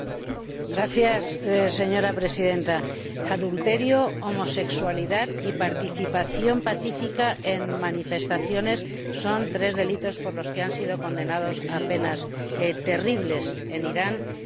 Señora Presidenta, adulterio, homosexualidad y participación pacífica en manifestaciones son tres delitos por los que han sido condenadas a penas terribles en Irán tres personas.